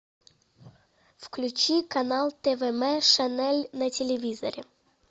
включи канал твм шанель на телевизоре